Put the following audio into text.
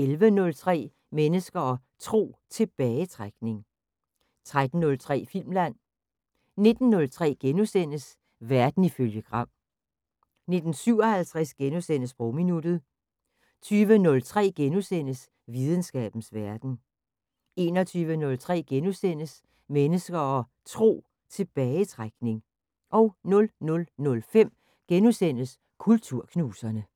11:03: Mennesker og Tro: Tilbagetrækning 13:03: Filmland 19:03: Verden ifølge Gram * 19:57: Sprogminuttet * 20:03: Videnskabens Verden * 21:03: Mennesker og Tro: Tilbagetrækning * 00:05: Kulturknuserne *